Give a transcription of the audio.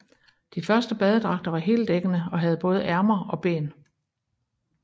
De første badedragter var heldækkende og havde både ærmer og ben